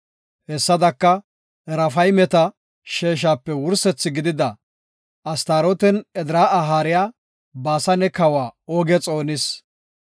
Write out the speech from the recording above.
Hessadaka, Raafaymeta sheeshape wursethi gidida, Astarootenne Edraa7a haariya, Baasane kawa Ooge xoonis.